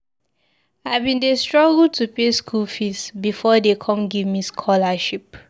I bin dey struggle to pay skool fees before dey come give me scholarship.